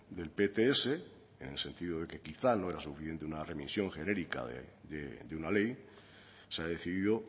del pts en el sentido de que quizá no era suficiente una remisión genérica de una ley se ha decidido